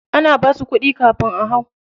Ana basu kuɗi kafin a hau?